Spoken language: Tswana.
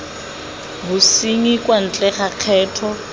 bosenyi kwa ntle ga kgetho